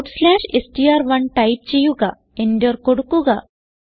str1 type ചെയ്യുക enter കൊടുക്കുക